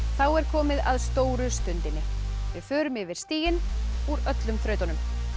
þá er komið að stóru stundinni við förum yfir stigin úr öllum þrautunum